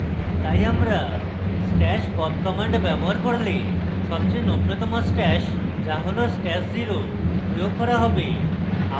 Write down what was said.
তাই আমরা stash pop command ব্যবহার করলে সবচেয়ে নবীনতম stash so হল stash @{0} প্রয়োগ করা হবে